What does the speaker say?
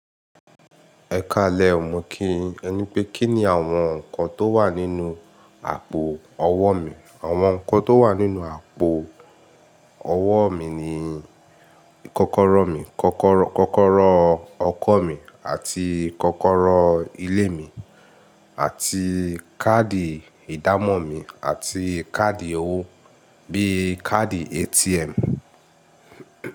Ẹ ka lẹ o, mọ̀ kìyin. Ẹ ní pé kí ni àwọn nǹkan tó wà nínú àpò ọwọ́ mi. Àwọn nǹkan tó wà nínú àpò ọwọ́ mi ni kọ́kọ́rọ́ mi, kọ́kọ́rọ́ ọkọ̀ mi àti kọ́kọ́rọ́ ilé mi àti káàdì ìdámọ̀ mi àti káàdì owó bíi káàdì ATM.